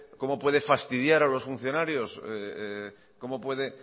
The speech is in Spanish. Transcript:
cómo puede fastidiar a los funcionarios cómo puede